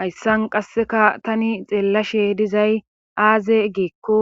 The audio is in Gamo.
Hayssan qasseka tani xeellashe dizay aaze geekko